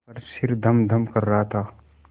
पर सिर धमधम कर रहा था